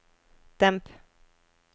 demp